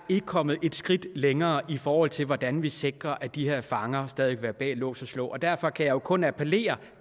kommet et skridt længere i forhold til hvordan vi sikrer at de her fanger stadig være bag lås og slå derfor kan jeg jo kun appellere